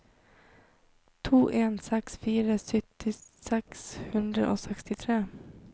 to en seks fire sytti seks hundre og sekstitre